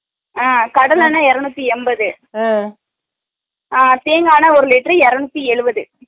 அஹ கடலென்ன இரனுத்தி எம்பது அஹ தேங்கா என்னை ஒரு லிட்டர் இரனுத்தி எழுபது